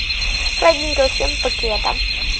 ладненько всем покеда